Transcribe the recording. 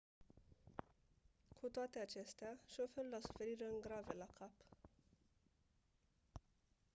cu toate acestea șoferul a suferit răni grave la cap